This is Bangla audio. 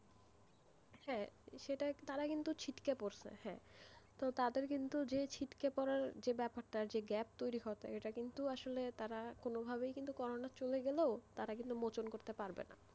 হ্যাঁ তারা কিন্তু ছিটকে পড়ছে হ্যাঁ তো তাদের কিন্তু যে ছিটকে পড়ার যে ব্যাপারটা যে gap তৈরি হওয়া টা এটা কিন্তু আসলেই তারা কোনভাবে কিন্তু করোনা চলে গেলেও কিন্তু মোচন করতে পারবেনা,